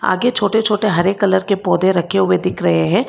आगे छोटे छोटे हरे कलर के पौधे रखे हुए दिख रहे हैं।